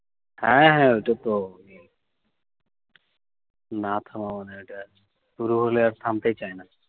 হ্যাঁ, হ্যাঁ ওইটা তো না থামা মানে ওইটা। শুরু হলে আর থামতেই চায় না।